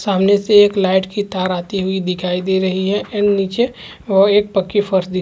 सामने से एक लाइट की तार आती हुई दिखाई दे रही है एंड नीचे वह एक पक्की फर्श दिखाई--